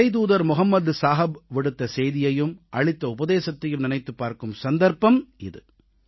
இறைத்தூதர் முகமது நபிகள் விடுத்த செய்தியையும் அளித்த உபதேசத்தையும் நினைத்துப் பார்க்கும் சந்தர்ப்பம் இது